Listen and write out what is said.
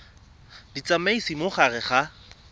di tsamaisa mo gare ga